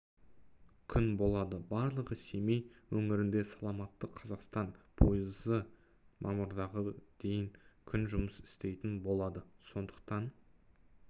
күн болады барлығы семей өңірінде саламатты қазақстан пойызы мамырға дейін күн жұмыс істейтін болады сондықтан